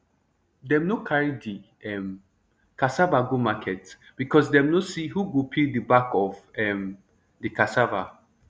dem nor carry de um cassava go market becos dem nor see who go peel de back of um de cassava